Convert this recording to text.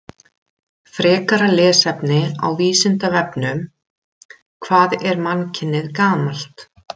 Frekara lesefni á Vísindavefnum: Hvað er mannkynið gamalt?